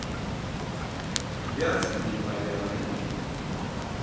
вятские поляны